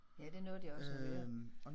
Ja det nåede jeg også at høre